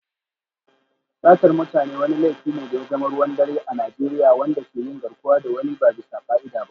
Satar mutane wani laifi ne da ya zama ruwan dare a Najeriya, wanda ke yin garkuwa da wani ba bisa ka'ida ba.